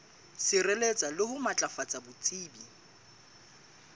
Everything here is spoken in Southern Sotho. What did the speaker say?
sireletsa le ho matlafatsa botsebi